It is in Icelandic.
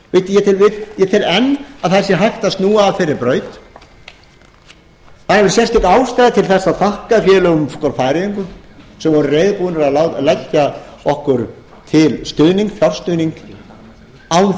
ég tel enn að það sé hægt að snúa af þeirri braut það er sérstök ástæða til þess að þakka færeyingum sem voru reiðubúnir að leggja okkur til fjárstuðning án